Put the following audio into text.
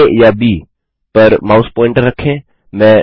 आ या ब पर माउस प्वॉइंटर रखें